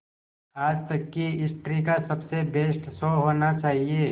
आज तक की हिस्ट्री का सबसे बेस्ट शो होना चाहिए